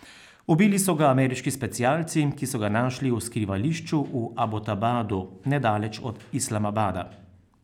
Ubili so ga ameriški specialci, ki so ga našli v skrivališču v Abotabadu nedaleč od Islamabada.